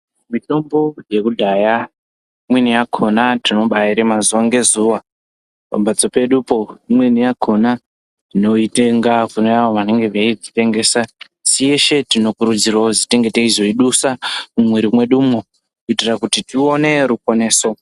Mitombo yekudhaya imweni yakhona tinobaarima zuwa ngezuwa pamhatso pedupo, imweni yakhona tinoitenga kune avo vanenge veidzitengesa, teshe tinokurudzirwa kuzwi kuti tinge teizoidusa mumwiri mwedumwo kuitira kuti tione ruponeso.